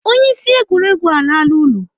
Onye isi egwuregwu alala ụlọ.